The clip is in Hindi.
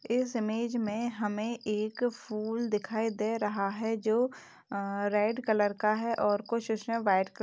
इस इमेज में हमें एक फूल दिखाई दे रहा है जो अ रेड कलर का है और कुछ उसमें व्हाइट क --